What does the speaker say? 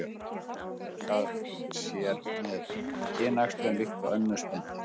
Maðurinn fjölgar sér með kynæxlun líkt og önnur spendýr.